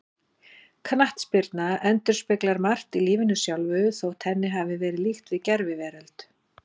Knattspyrna endurspeglar margt í lífinu sjálfu, þótt henni hafi verið líkt við gerviveröld.